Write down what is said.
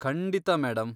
ಖಂಡಿತ, ಮೇಡಂ.